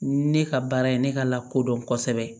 Ne ka baara ye ne ka lakodɔn kosɛbɛ